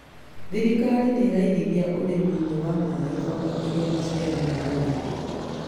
Thirikari nĩraigithia ũrĩmi-inĩ wa maĩ kwambatĩria maciaro ma ũrĩmi